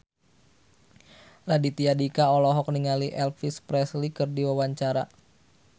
Raditya Dika olohok ningali Elvis Presley keur diwawancara